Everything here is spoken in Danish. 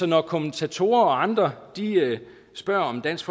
når kommentatorer og andre spørger om dansk